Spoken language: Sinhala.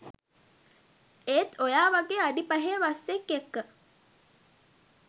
ඒත් ඔයා වගේ අඩි පහේ වස්සෙක් එක්ක